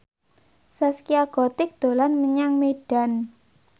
Zaskia Gotik dolan menyang Medan